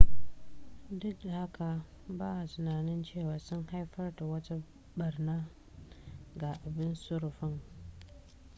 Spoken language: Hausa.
duk da haka ba'a tunanin cewa sun haifar da wata ɓarna ga abin sufurin